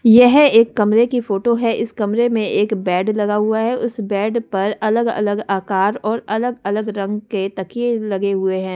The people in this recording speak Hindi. यह एक कमरे की फोटो है इस कमरे में एक बेड लगा हुआ है उस बेड पर अलग-अलग आकार और अलग-अलग रंग के तकखिए लगे हुए हैं।